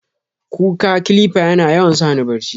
ƙukka "clipper" yana yawan sani barchi.